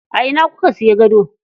A ina kuka siya gado?